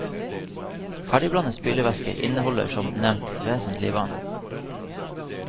Ferdigblandet spylevæske inneholder som nevnt vesentlig vann.